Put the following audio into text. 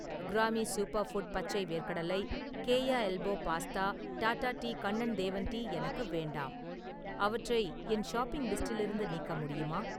கிராமி super food பச்சை வேர்க்கடலை, Keya elbow pasta, Tata tea Kannan Devan tea எனக்கு வேண்டாம், அவற்றை என் ஷாப்பிங் லிஸ்டிலிருந்து நீக்க முடியுமா?